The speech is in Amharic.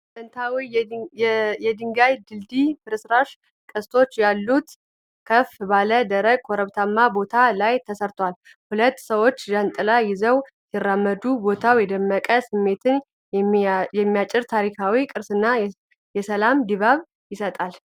ጥንታዊ የድንጋይ ድልድይ ፍርስራሽ፣ ቅስቶች ያሉት፣ ከፍ ባለ ደረቅ ኮረብታማ ቦታ ላይ ተሰርቷል። ሁለት ሰዎች ጃንጥላ ይዘው ሲራመዱ፣ ቦታው የመደነቅ ስሜትን የሚያጭር ታሪካዊ ቅርስና የሰላም ድባብ ይሰጣል።